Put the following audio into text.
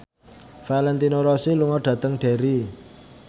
Valentino Rossi lunga dhateng Derry